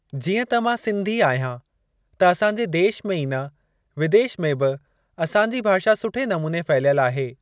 जीअं त मां सिंधी आहियां त असांजे देश में ई न विदेश में बि असांजी भाषा सुठे नमूने फहिलियल आहे।